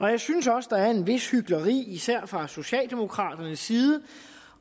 jeg synes også der er et vist hykleri især fra socialdemokraternes side